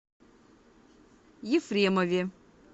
ефремове